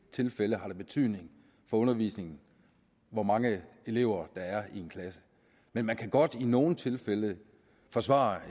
tilfælde har betydning for undervisningen hvor mange elever der er i en klasse men man kan godt i nogle tilfælde forsvare